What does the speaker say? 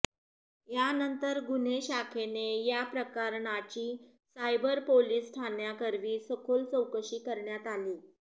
यानंतर गुन्हे शाखेने या प्रकरणाची सायबर पोलिस ठाण्याकरवी सखोल चौकशी करण्यात आली